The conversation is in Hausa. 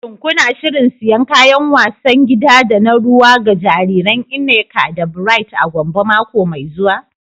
Shin kuna shirin siyan kayan wasan gida da na ruwa ga jariran Nneka da Bright a Gombe mako mai zuwa?